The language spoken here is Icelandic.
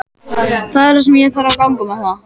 Það er ég sem þarf að ganga með það.